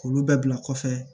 K'olu bɛɛ bila kɔfɛ